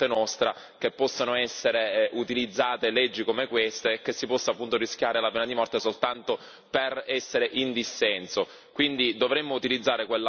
Però è anche vero che non è accettabile da parte nostra che possano essere utilizzate leggi come questa e che si possa appunto rischiare la pena di morte soltanto per essere in dissenso.